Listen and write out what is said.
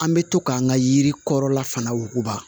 An bɛ to k'an ka yiri kɔrɔla fana wuguba